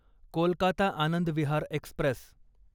Kolkata Anand Vihar Express